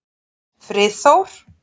Friðþór